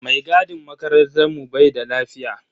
Mai gadin makarantar mu bai da lafiya.